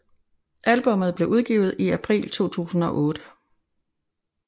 Albummet blev udgivet i april 2008